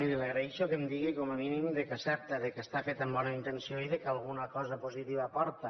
miri li agraïxo que em digui com a mínim que accepta que està feta amb bona intenció i que alguna cosa positiva aporta